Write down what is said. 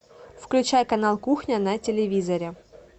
включай канал кухня на телевизоре